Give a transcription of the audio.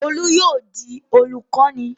Olú yóò di olùkọ́ní!